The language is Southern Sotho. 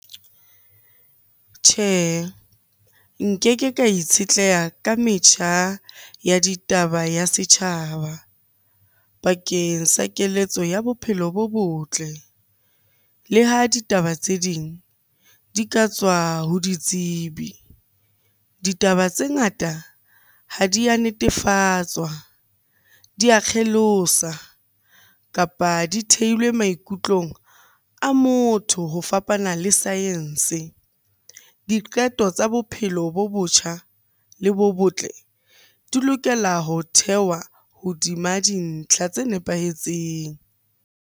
Tjhe, nkeke ka itshetleha ka metjha ya ditaba ya setjhaba bakeng sa keletso ya bophelo bo botle le ha ditaba tse ding di ka tswa ho ditsebi. Ditaba tse ngata ha di ya netefatswa, di a kgelosa, kapa di thehilwe maikutlong a motho ho fapana le science. Diqeto tsa bophelo bo botjha le bo botle di lokela ho thehwa hodima dintlha tse nepahetseng.